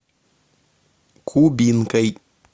кубинкой